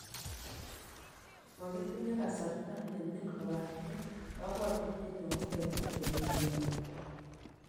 Mokitinye kasarta ne nin kobaten kobwotutienyon kogetar urerioni."